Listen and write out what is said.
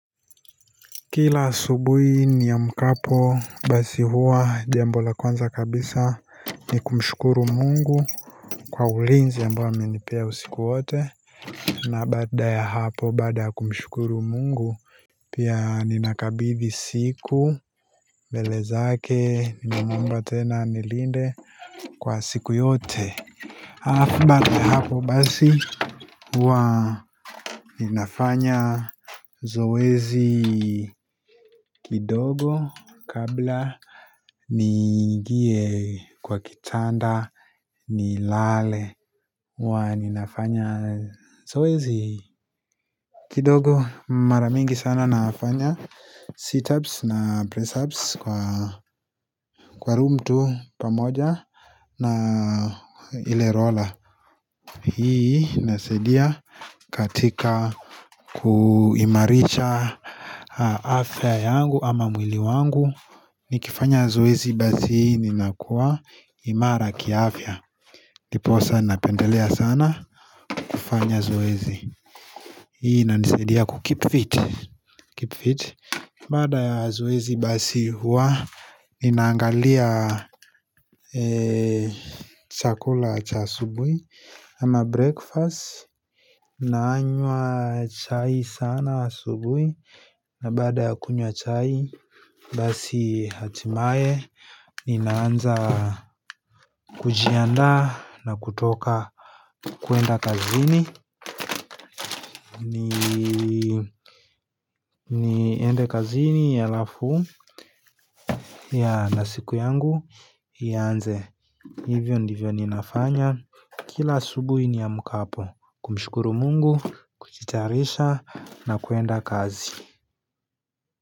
Kila asubuhi niamkapo basi huwa jambo la kwanza kabisa ni kumshukuru mungu kwa ulinzi ambao amenipea usiku wote na baada ya hapo baada kumshukuru mungu Pia ninakabdthi siku mbele zake ninamuomba tena anilinde kwa siku yote Alafu baada ya hapo basi huwa ninafanya zoezi kidogo kabla niingie kwa kitanda ni lale huwa ninafanya zoezi kidogo mara mingi sana nafanya situps na pressups kwa room tu pamoja na ile roller hii inasaidia katika kuimarisha afya yangu ama mwili wangu Nikifanya zoezi basi ninakuwa imara kiafya Nikifanya zoezi basi ninakuwa imara kiafya Nikifanya zoezi basi ninakuwa imara kiafya baada ya zoezi basi huwa ninaangalia chakula cha asubui ama breakfast Naanywa chai sana asubui na baada ya kunywa chai Basi hatimaye Ninaanza kujiandaa na kutoka kuenda kazini niende kazini ya halafu ya na siku yangu ianze hivyo ndivyo ninafanya Kila asubuhi niamkapo kumshukuru mungu, kujitayarisha na kuenda kazi.